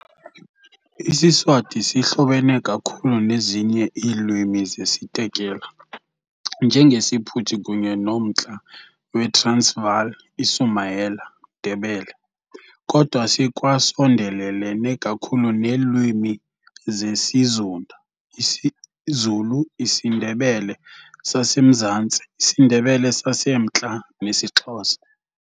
IsiSwati sihlobene kakhulu nezinye iilwimi zesiTekela, njengesiPhuthi kunye noMntla weTransvaal iSumayela Ndebele, kodwa sikwasondelelene kakhulu neelwimi zesiZunda isiZulu, isiNdebele saseMzantsi, isiNdebele saseMntla, nesiXhosa.